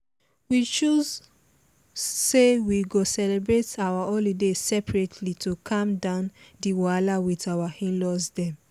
we choose say we go celebrate our holiday seperately to calm down di wahala with our in-laws dem